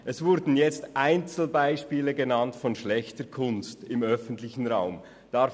Es wurden Einzelbeispiele von schlechter Kunst im öffentlichen Raum genannt.